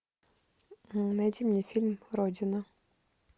найди мне фильм родина